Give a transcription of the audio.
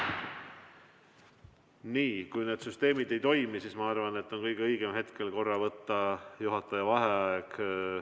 Nii, kui need süsteemid ei toimi, siis ma arvan, et on kõige õigem hetkel võtta korra juhataja vaheaeg.